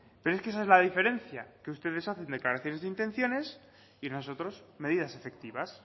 pero es que esa es la diferencia que ustedes hacen declaraciones de intenciones y nosotros medidas efectivas